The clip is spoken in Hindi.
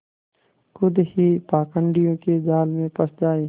खुद ही पाखंडियों के जाल में फँस जाए